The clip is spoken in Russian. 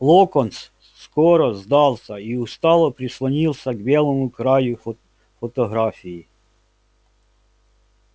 локонс скоро сдался и устало прислонился к белому краю фотографии